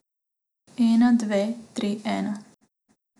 Ena, dve, tri, ena.